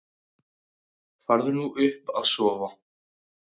Farðu nú upp að sofa.